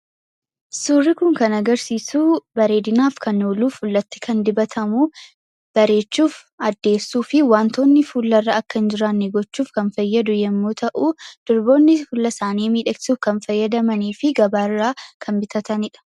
Suurri kun kan agarsiisu bareedinaaf kan oolu, fuulatti kan dibatamu, bareechuuf, addeessuuf fi wantoonni fuularra akka hin jiraanne gochuuf kan fayyadu yoo ta’u, durboonni fuula isaanii miidhagsuuf kan fayyadamanii fi gabaarraa kan bitatanidha.